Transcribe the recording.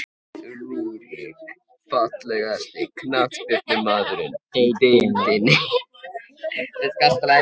Rúrik Fallegasti knattspyrnumaðurinn í deildinni?